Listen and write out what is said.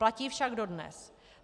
Platí však dodnes.